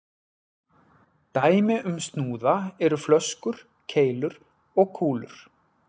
Dæmi um snúða eru flöskur, keilur og kúlur.